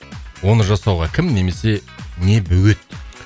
оны жасауға кім немесе не бөгет